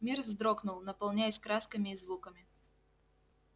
мир вздрогнул наполняясь красками и звуками